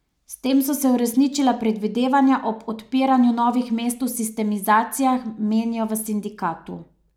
S tem so se uresničila predvidevanja ob odpiranju novih mest v sistemizacijah, menijo v sindikatu.